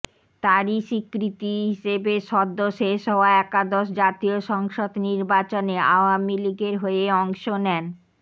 তারই স্বীকৃতি হিসেবে সদ্য শেষ হওয়া একাদশ জাতীয় সংসদ নির্বাচনে আওয়ামী লীগের হয়ে অংশ নেন